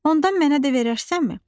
Ondan mənə də verərsənmi?